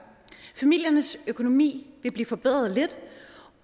familiernes økonomi vil blive forbedret lidt